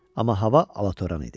Amma hava alatoran idi.